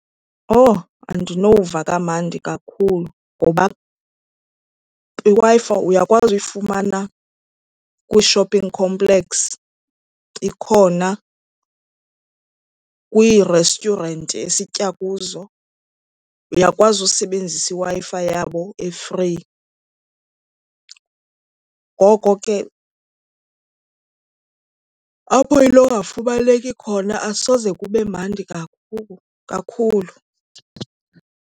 Owu andinova kamnandi kakhulu ngoba iWi-Fi uyakwazi uyifumana kwi-shopping complex ikhona, kwii-restaurant esitya kuzo uyakwazi usebenzisa iWi-Fi yabo e-free. Ngoko ke apho inongafumaneki khona asoze kube mandi kakhulu.